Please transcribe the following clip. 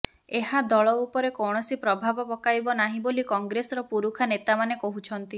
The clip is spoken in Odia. ଏହା ଦଳ ଉପରେ କୌଣସି ପ୍ରଭାବ ପକାଇବ ନାହିଁ ବୋଲି କଂଗ୍ରେସର ପୁରୁଖା ନେତା ମାନେ କହୁଛନ୍ତି